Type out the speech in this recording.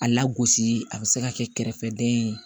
A lagosi a bɛ se ka kɛ kɛrɛfɛdɛn ye